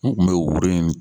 U kun be woro ɲimi